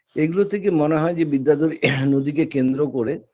এগুলো থেকে মনে হয় যে বিদ্যাধরী নদীকে কেন্দ্র করে